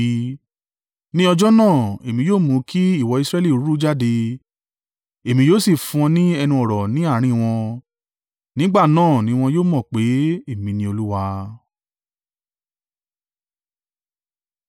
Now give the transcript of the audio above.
“Ní ọjọ́ náà, èmi yóò mú kí ìwo Israẹli ru jáde, èmi yóò sì fún ọ ní ẹnu ọ̀rọ̀ ní àárín wọn. Nígbà náà ni wọn yóò mọ̀ pé èmi ni Olúwa.”